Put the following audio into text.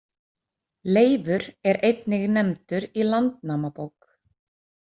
Leifur er einnig nefndur í Landnámabók.